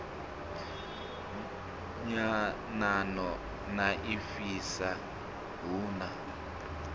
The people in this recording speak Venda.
nyanano na ifhasi hu na